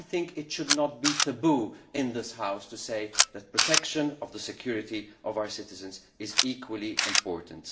It should not be taboo in this House to say that protecting the security of our citizens is equally important.